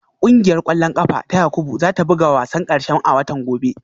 Kungiyar kwallon kafa ta Yakubu za ta buga wasan karshe a watan gobe